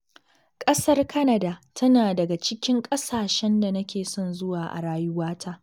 Ƙasar Canada tana daga cikin ƙasashen da nake son zuwa a rayuwata.